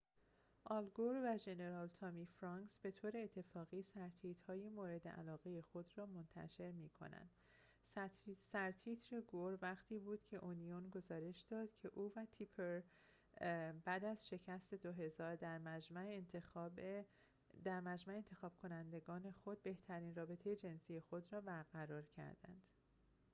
آل گور و ژنرال تامی فرانکس به طور اتفاقی سرتیتر‌های مورد علاقه خود را منتشر می کنند سرتیتر گور وقتی بود که اونیون گزارش داد که او و تیپر بعد از شکست سال 2000 در مجمع انتخاب کنندگان خود بهترین رابطه جنسی خود را برقرار کردند